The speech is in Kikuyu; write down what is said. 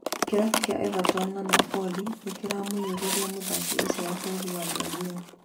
Kĩrabu kĩa Everton na Napoli nĩiramũnyũrûria mũthaki ũcio wa bũrũri wa Braz